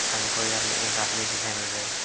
हमको यहां पे एक आदमी दिखाई मिल रहे हैं।